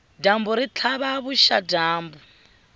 dyambu ri tlhava vuxadyambu